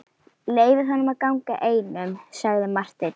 Leyfið honum að ganga einum, sagði Marteinn.